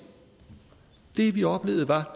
det vi oplevede var